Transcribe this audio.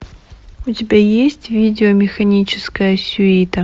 у тебя есть видео механическая сюита